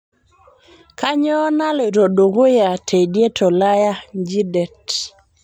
kainyio naloito dukuya teidie tolaya nji det